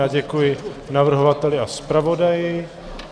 Já děkuji navrhovateli a zpravodaji.